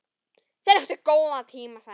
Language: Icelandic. Þeir áttu góðan tíma saman.